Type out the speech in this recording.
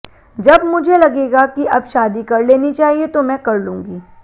जब मुझे लगेगा कि अब शादी कर लेनी चाहिए तो मैं कर लूंगी